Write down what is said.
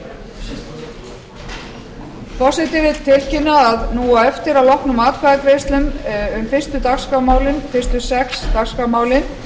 forseti vill tilkynna að nú á eftir að loknum atkvæðagreiðslum um fyrstu sex dagskrármálin